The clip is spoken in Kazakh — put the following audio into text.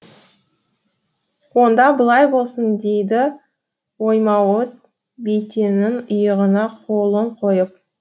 онда былай болсын дейді оймауыт бәйтеннің иығына қолын қойып